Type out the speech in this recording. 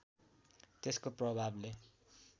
त्यसको प्रभावले